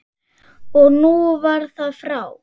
Og nú var það frá.